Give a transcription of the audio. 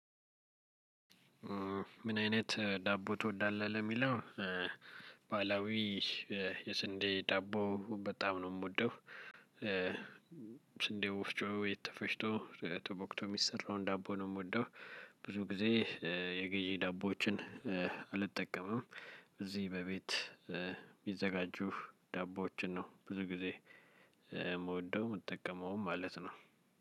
ምን አይነት ዳቦ ትወዳለህ? ለሚለው ባህላዊ የስንዴ ዳቦ በጣም ነው የምወደው። ስንዴ ወፍጮ የተፈጭቶ ተቦክቶ የሚሰራውን ዳቦ ነው የምወደው። ብዙ ጊዜ የገዢ ዳቦዎችን አልጠቀምም። እዚህ በቤት የሚዘጋጁ ዳቦዎችን ነው ብዙ ጊዜ የምወደው። የምትጠቀመውም ማለት ነው።